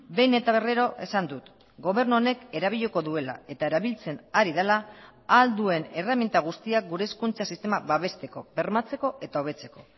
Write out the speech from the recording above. behin eta berriro esan dut gobernu honek erabiliko duela eta erabiltzen ari dela ahal duen erreminta guztiak gure hezkuntza sistema babesteko bermatzeko eta hobetzeko